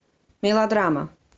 мелодрама